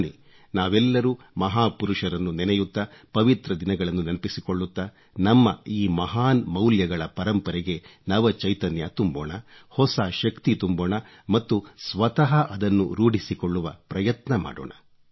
ಬನ್ನಿ ನಾವೆಲ್ಲರೂ ಮಹಾಪುರುಷರನ್ನು ನೆನೆಯುತ್ತಾ ಪವಿತ್ರ ದಿನಗಳನ್ನು ನೆನಪಿಸಿಕೊಳ್ಳುತ್ತಾ ನಮ್ಮ ಈ ಮಹಾನ್ ಮೌಲ್ಯಗಳ ಪರಂಪರೆಗೆ ನವ ಚೈತನ್ಯ ತುಂಬೋಣ ಹೊಸ ಶಕ್ತಿ ತುಂಬೋಣ ಮತ್ತು ಸ್ವತಃ ಅದನ್ನು ರೂಢಿಸಿಕೊಳ್ಳುವ ಪ್ರಯತ್ನ ಮಾಡೋಣ